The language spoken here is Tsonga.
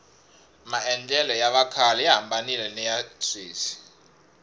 maendlelo ya vakhale ya hambanile niya sweswi